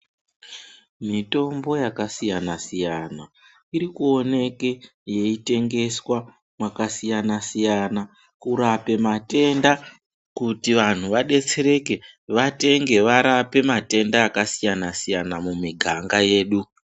Mitombo yakasiyana siyana irkuoneke yeitengeswa makasiyana siyana kurape matenda kuti vantu vadetsereke vatenge varape matenda akasiyana siyana mumiganga yedu.